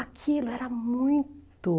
Aquilo era muito.